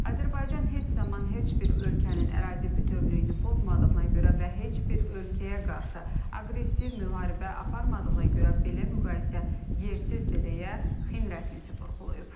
Azərbaycan heç zaman heç bir ölkənin ərazi bütövlüyünü pozmadığına görə və heç bir ölkəyə qarşı aqressiv müharibə aparmadığına görə belə müqayisə yersizdir deyə XİN rəsmisi vurğulayıb.